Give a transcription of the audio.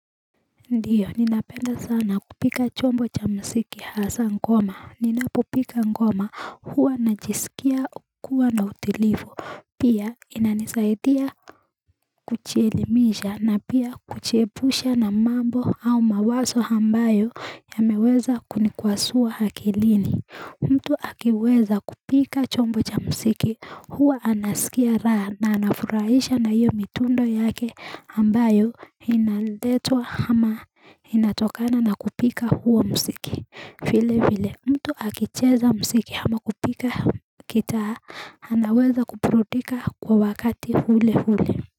Ndiyo ninapenda sana kupika chombo cha mziki hasa ngoma ninapo piga ngoma huwa najisikia kuwa na utulivu pia inanisaidia kujielimisha napia kujiepusha na mambo au mawazo ambayo yameweza kunisumbua akilini mtu akiweza kupiga chombo cha mziki huwa anasikia raha na anafurahishwa nahiyo midundo yake ambayo inaletwa hama inatokana na kupika huwa mziki vile vile mtu akicheza mziki ama kupiga gitaa anaweza kuburudika kwa wakati hule hule.